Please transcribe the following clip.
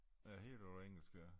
Det hele er på engelsk ja